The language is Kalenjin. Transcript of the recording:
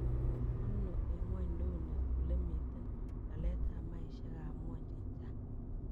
Ano eng' ngw'onyduni olemiten laletab maisyekab ngw'ony che chang